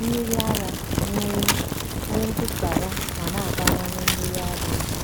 mmiri ara nwee nwee ntụsara ma na-abawanye mmiri ara ehi.